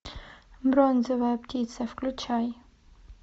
бронзовая птица включай